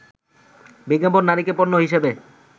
বিজ্ঞাপনে নারীকে পণ্য হিসেবে